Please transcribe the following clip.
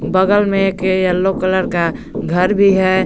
बगल में एक येलो कलर का घर भी है।